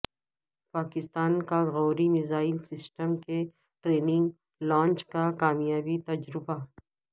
پاکستان کاغوری missile system کے training launch کا کامیاب تجربہ